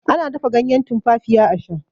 ana dafa ganyen tumfafiya a Sha